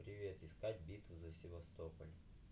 привет искать битву за севастополь